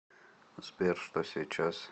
сбер что сейчас